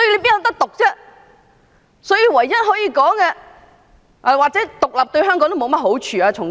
再者，從經濟角度而言，獨立對香港也沒有好處。